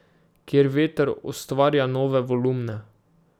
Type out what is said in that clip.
Kjer veter ustvarja nove volumne.